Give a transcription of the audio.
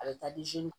A bɛ taa di